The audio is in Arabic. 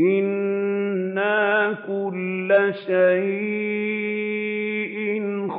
إِنَّا كُلَّ شَيْءٍ